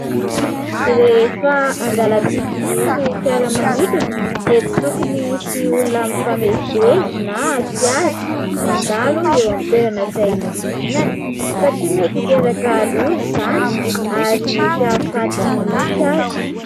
Rehefa andalam-pidinana ny fiaramanidina dia tsy tokony hisy olona mifamezivezy na fiara, mandalo eo amin'ny toerana izay hidinana satria mety hiteraka loza izany ary mety hahafaty mihitsy aza.